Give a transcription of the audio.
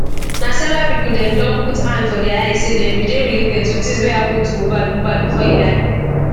na several pipo dem don put hand for dia eyes say dem bin dey related to tins weyhappun to mohbad mohbad bifor e die